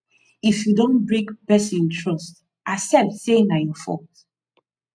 if you don break person trust accept sey na your fault